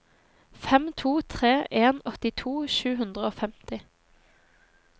fem to tre en åttito sju hundre og femti